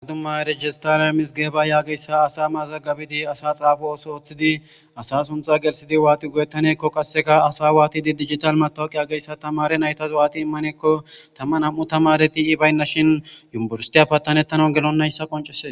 Addumma rejistaria mis geeba yaageyssa asa mazagabidi asa xaafu ooso ooththidi asa suntha gelsidi waati goyettanekko qasseka asa waatidi digital matowuqi ageyssa tamare naytazw'aati immanekko tamma am'u tamareti i baynna shin yumburstiya pattanettana gelonnayssa qoncese.